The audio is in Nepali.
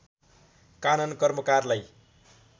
कानन कर्मकारलाई